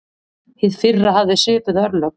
Hið fyrra hafði svipuð örlög.